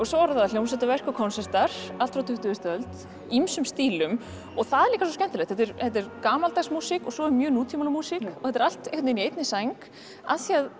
svo eru það hljómsveitraverk og konsertar allt frá tuttugustu öld í ýmsum stílum það er líka svo skemmtilegt þetta er gamaldags músík og svo er mjög nútímaleg músík og þetta er allt einhvern veginn í einni sæng af því að